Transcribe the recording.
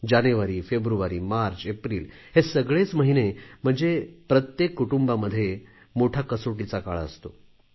जानेवारी फेब्रुवारी मार्च एप्रिल हे सगळेच महिने म्हणजे प्रत्येक कुटुंबामध्ये मोठा कसोटीचा काळ असतो